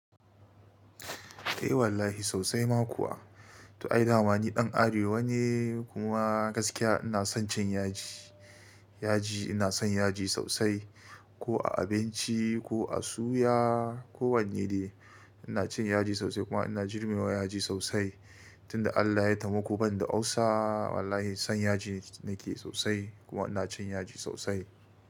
Eh wallahi sosai ma kuwa. To ai damani ɗan arewa ne kuma gaskiya ina son cin yaji, yaji ina son yaji sosai ko a abinci ko a suya ko wanne ne ina cin yaji sosai kuma ina jure ma yaji sosai. Tun da Allah ya taimako ban da ulcer wallahi son yaji nake sosai kuma ina cin yaji sosai.